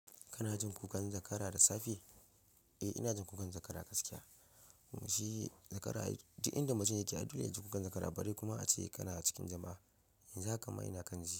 Kana jin kukan zakara da safe? Eh, ina jin kukan zakara gaskiya. Shi zakara, duk inda mutum yake ai yakan ji kukan zakara bare kuma ace kana cikin jama'a, yanzu haka ma ina kan ji.